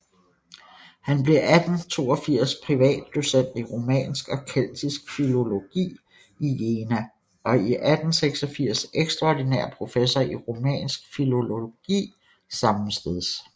Han blev 1882 privatdocent i romansk og keltisk filologi i Jena og 1886 ekstraordinær professor i romansk filologi sammesteds